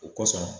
O kosɔn